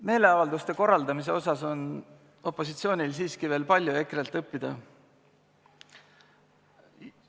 Meeleavalduste korraldamisel on opositsioonil siiski veel palju EKRE-lt õppida.